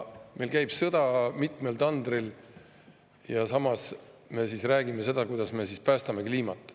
Sõda käib mitmel tandril ja samas me räägime, kuidas me päästame kliimat.